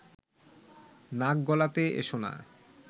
নাক গলাতে এসো না